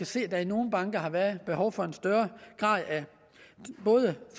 se at der i nogle banker har været behov for en større grad af